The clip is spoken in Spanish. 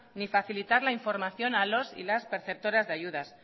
ni facilitar la información a los y las perceptoras de ayudas